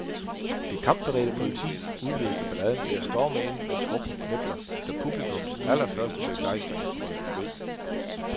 Det kampberedte politi udløste balladen ved at storme ind med trukne knipler, da publikums allerførste begejstringsbrøl lød.